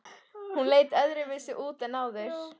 Hún leit öðruvísi út en áður.